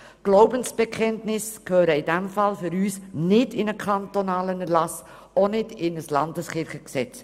Glaubensbekenntnisse gehören für uns deshalb nicht in einen kantonalen Erlass, auch nicht in ein Landeskirchengesetz.